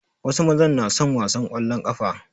Wasu mazan na son wasan ƙwallon ƙafa.